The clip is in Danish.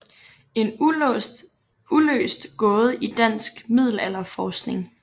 En uløst gåde i dansk middelalderforskning